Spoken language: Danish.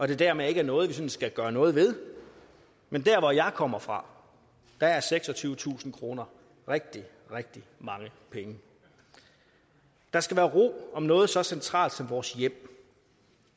det dermed ikke er noget vi skal gøre noget ved men hvor jeg kommer fra er seksogtyvetusind kroner rigtig rigtig mange penge der skal være ro om noget så centralt som vores hjem